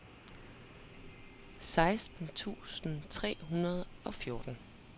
seksten tusind tre hundrede og fjorten